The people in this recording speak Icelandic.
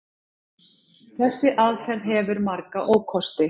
Þessi aðferð hefur marga ókosti.